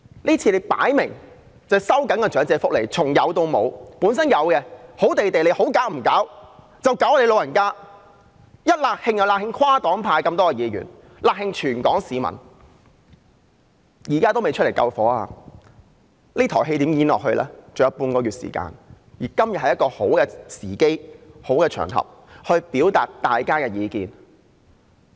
這次明顯是收緊長者福利，從有到無，原本好好的，其他方面你們不搞，卻要搞老人家，"辣㷫"跨黨派議員、"辣㷫"全港市民，現在還未走出來救火，還有半個月時間，這台戲如何演下去？